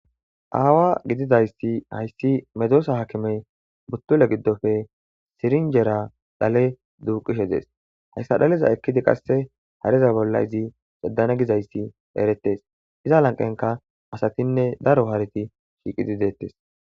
Aawa gididayssi hayssi medoosa hakimey buttule giddofe sirinjera dhale duuqishe dees hayssa dhaleza ekkidi qasse hareza bolla izi ceddane gizayssi erettes iza lanqenka asatinne daro hareti shiiqidi deettes.